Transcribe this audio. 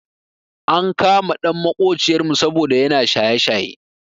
Ankama ɗan maƙociyar mu saboda yana shaye shaye.